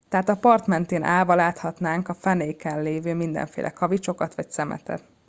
tehát a part mentén állva láthatnánk a fenéken levő mindenféle kavicsokat vagy szemetet